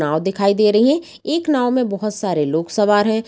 नाव दिखाई दे रही है एक नाव में बहोत सारे लोग सवार हैं।